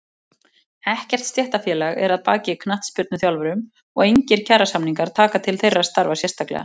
Ekkert stéttarfélag er að baki knattspyrnuþjálfurum og engir kjarasamningar taka til þeirra starfa sérstaklega.